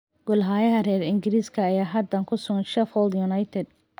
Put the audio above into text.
Goolhayaha reer ingiriska ayaa haatan ku sugan Sheffield United.